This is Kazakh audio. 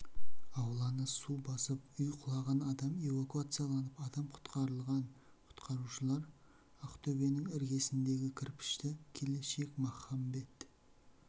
ауланы су басып үй құлаған адам эвакуацияланып адам құтқарылған құтқарушылар ақтөбенің іргесіндегі кірпішті келешек махамбет